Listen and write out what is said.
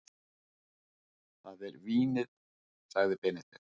Það er vínið, sagði Benedikt.